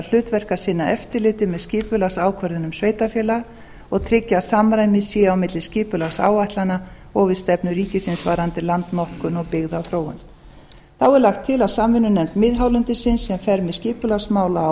hlutverk að sinna eftirliti með skipulagsákvörðunum sveitarfélaga og tryggja að samræmi sé á milli skipulagsáætlana og við stefnu ríkisins varðandi landnotkun og byggðaþróun þá er lagt til að samvinnunefnd miðhálendisins sem fer með skipulagsmál á